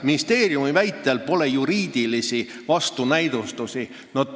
Ministeeriumi väitel juriidilisi vastunäidustusi pole.